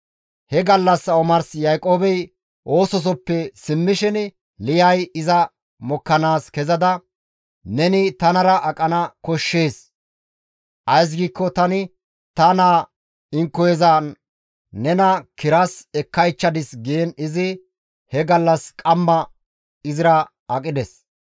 He gallassa omars Yaaqoobey oososoppe simmishin Liyay iza mokkanaas kezada, «Neni tanara aqana koshshees; ays giikko tani ta naa inkoyezan nena kiras ekkaychchadis» giin izi he gallassa omars izira aqides.